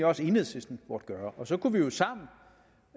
også at enhedslisten burde gøre og så kunne vi jo sammen